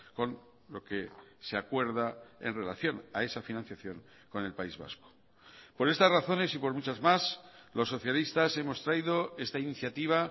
con lo que se acuerda en relación a esa financiación con el país vasco por estas razones y por muchas más los socialistas hemos traído esta iniciativa